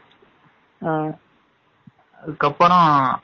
அதுக்கப்பறம்